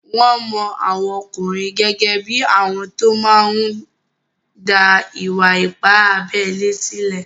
Wọ́n mọ àwọn ọkùnrin gẹ́gẹ́ bí àwọn tó máa n dá ìwà-ipá abélé sílẹ̀